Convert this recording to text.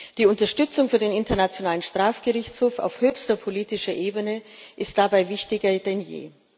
Die Unterstützung für den Internationalen Strafgerichtshof auf höchster politischer Ebene ist dabei wichtiger denn je.